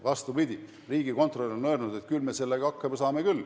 Vastupidi, riigikontrolör on öelnud, et küll me sellega hakkama saame.